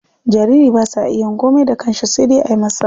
Jariri ba sa iya yin komai da kansha sai dai ayi masa.